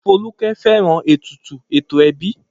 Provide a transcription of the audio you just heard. Folúkẹ́ fẹ́ràn ètùtù ẹ̀tọ́ ẹbí.